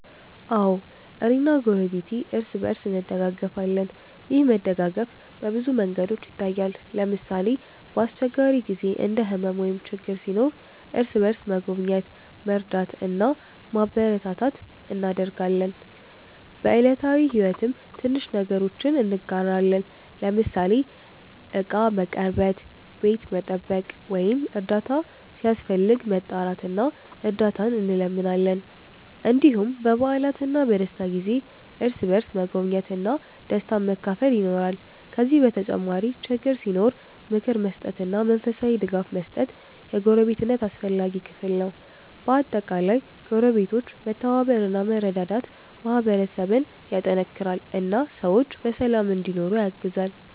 አዎ፣ እኔና ጎረቤቴ እርስ በእርስ እንደጋገፋለን። ይህ መደጋገፍ በብዙ መንገዶች ይታያል። ለምሳሌ፣ በአስቸጋሪ ጊዜ እንደ ሕመም ወይም ችግር ሲኖር እርስ በእርስ መጎብኘት፣ መርዳት እና ማበረታታት እናደርጋለን። በዕለታዊ ሕይወትም ትንሽ ነገሮችን እንጋራለን፤ ለምሳሌ ዕቃ መቀርበት፣ ቤት መጠበቅ ወይም እርዳታ ሲያስፈልግ መጣራት እና እርዳት እንለምናለን። እንዲሁም በበዓላትና በደስታ ጊዜ እርስ በእርስ መጎብኘት እና ደስታን መካፈል ይኖራል። ከዚህ በተጨማሪ ችግር ሲኖር ምክር መስጠትና መንፈሳዊ ድጋፍ መስጠት የጎረቤትነት አስፈላጊ ክፍል ነው። በአጠቃላይ ጎረቤቶች መተባበር እና መረዳዳት ማህበረሰብን ያጠናክራል እና ሰዎች በሰላም እንዲኖሩ ያግዛል።